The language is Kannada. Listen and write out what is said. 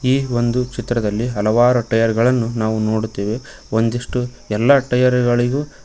ಈ ಒಂದು ಚಿತ್ರದಲ್ಲಿ ಹಲವಾರು ಟೈರ್ ಗಳನ್ನು ನಾವು ನೋಡುತ್ತೇವೆ ಒಂದಿಷ್ಟು ಎಲ್ಲಾ ಟೈರ್ ಗಳಿಗೂ.